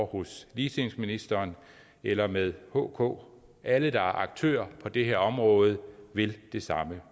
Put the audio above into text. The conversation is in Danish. hos ligestillingsministeren eller med hk alle der er aktører på det her område vil det samme